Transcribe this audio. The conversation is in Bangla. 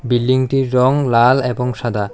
বিল্ডিংটির রং লাল এবং সাদা।